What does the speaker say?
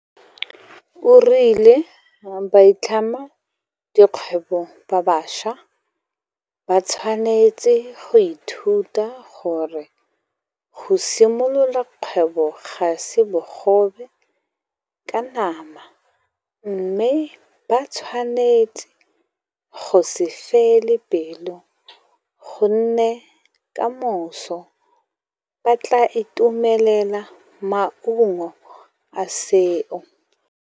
O rile baitlhamedikgwebo ba bašwa ba tshwanetse go ithuta gore go simolola kgwebo ga se bogobe ka nama mme ba tshwanetse go se fele pelo gonne kamoso ba tla itumelela maungo a seo.